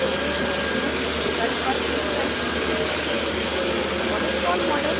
अब tool bar में rotate molecule विकल्प पर click करें